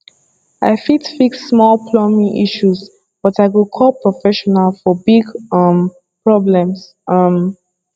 i fit fix small plumbing issues but i go call professional for big um problems um